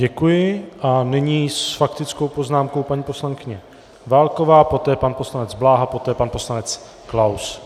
Děkuji a nyní s faktickou poznámkou paní poslankyně Válková, poté pan poslanec Bláha, poté pan poslanec Klaus.